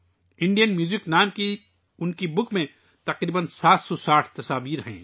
ان کی Indian music نامی کتاب میں تقریباً 760 تصویریں ہیں